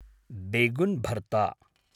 बेगुन् भर्ता